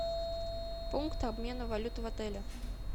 пункт обмена валюты в отеле